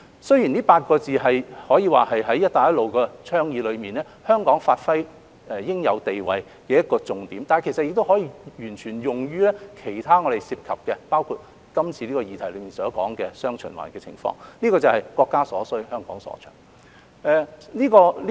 雖然這8個字可以說是香港在"一帶一路"倡議內發揮應有地位的重點，但亦可以完全用於其他議題，包括今次議題所說的"雙循環"的情況，就是"國家所需，香港所長"。